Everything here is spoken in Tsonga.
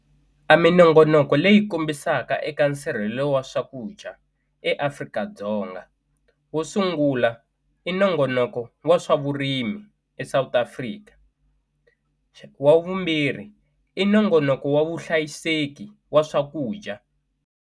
A minongonoko leyi kombisaka eka nsirhelelo wa swakudya eAfrika-Dzonga wo sungula i nongonoko wa swa vurimi eSouth Africa wa vumbirhi i nongonoko wa vuhlayiseki wa swakudya.